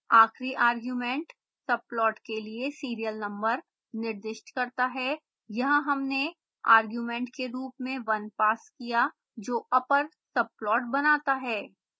आखिरी argument subplot के लिए serial number निर्दिष्ट करता है यहाँ हमने argument के रूप में 1 पास किया जो upper subplot बनाता है